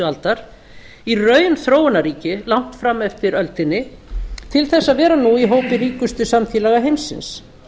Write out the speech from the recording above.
aldar í raun þróunarríki langt fram eftir öldinni til þess að vera nú í hópi ríkustu samfélaga heimsins